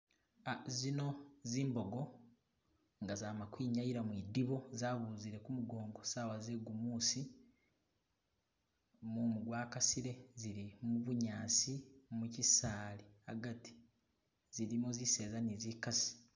Ah zino zimbogo nga zama kwinyayila mwidibo zabuzile kumukongo sawa ze gumusi , mumu gwa kasile , zili mubunyasi mukisaali agati, zilimo ziseza ne zikasi